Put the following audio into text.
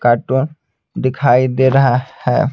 Cartoon दिखाई दे रहा है।